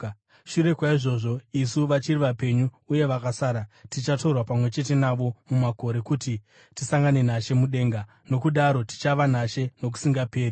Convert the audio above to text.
Shure kwaizvozvo, isu vachiri vapenyu uye vakasara, tichatorwa pamwe chete navo mumakore kuti tisangane naShe mudenga. Nokudaro tichava naShe nokusingaperi.